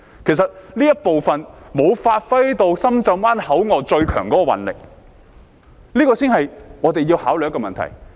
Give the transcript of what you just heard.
其實這方面沒有發揮到深圳灣口岸最強的運力，這才是我們要考慮的問題。